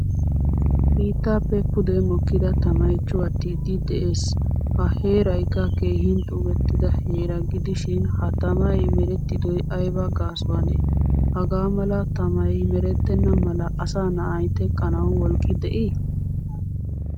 Biittappe pude mokkida tamay cuwattidi de'ees. Ha heeraykka keehin xuugettida heera gidishin ha tamay merettidoy ayba gaasuwanne? Hagaa mala tamay merettena mala asa na'ay teqqanawu wolqqi de'i?